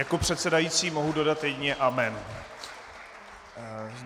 Jako předsedající mohu dodat jedině amen.